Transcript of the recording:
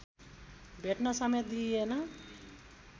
भेट्न समेत दिइएन